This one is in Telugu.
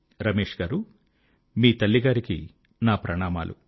రమేశ్ గారూ మీ తల్లి గారికి నా ప్రణామములు